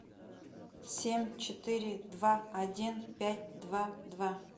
семь четыре два один пять два два